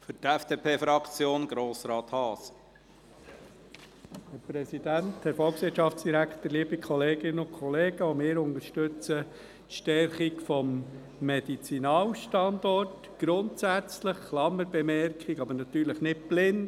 Auch wir unterstützen die Stärkung des Medizinalstandorts grundsätzlich – Klammerbemerkung: grundsätzlich, aber natürlich nicht blind.